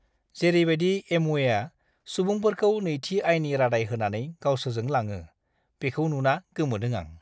जेरैबादि एम्वेआ सुबुंफोरखौ नैथि आयनि रादाय होनानै गावसोरजों लाङो, बेखौ नुना गोमोदों आं!